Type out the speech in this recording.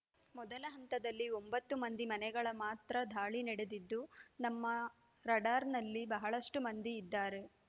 ಮೊದಲ ಹಂತದಲ್ಲಿ ಒಂಭತ್ತು ಮಂದಿ ಮನೆಗಳ ಮಾತ್ರ ದಾಳಿ ನಡೆದಿದ್ದು ನಮ್ಮ ರಾಡಾರ್‌ನಲ್ಲಿ ಬಹಳಷ್ಟುಮಂದಿ ಇದ್ದಾರೆ